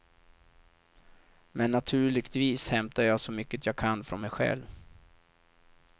Men naturligtvis hämtar jag så mycket jag kan från mig själv.